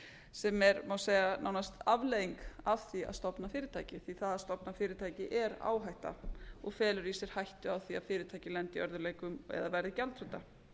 sem er má segja nánast afleiðing af því að stofna fyrirtæki því að það að stofna fyrirtæki er áhætta og felur í sér hættu á því að fyrirtækið lendi í örðugleikum eða verði gjaldþrota